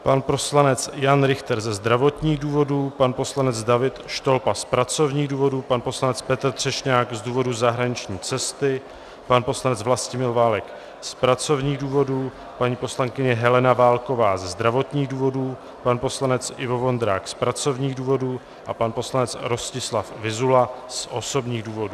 Pan poslanec Jan Richter ze zdravotních důvodů, pan poslanec David Štolba z pracovních důvodů, pan poslanec Petr Třešňák z důvodu zahraniční cesty, pan poslanec Vlastimil Válek z pracovních důvodů, paní poslankyně Helena Válková ze zdravotních důvodů, pan poslanec Ivo Vondrák z pracovních důvodů a pan poslanec Rostislav Vyzula z osobních důvodů.